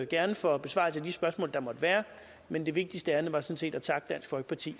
gerne for besvarelse af de spørgsmål der måtte være men det vigtigste ærinde var sådan set at takke dansk folkeparti